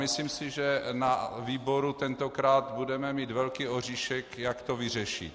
Myslím si, že na výboru tentokrát budeme mít velký oříšek, jak to vyřešit.